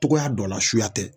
Togoya dɔ la suya tɛ